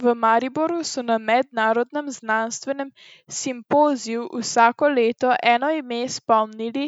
V Mariboru so na mednarodnem znanstvenem simpoziju Vsako leto eno ime spomnili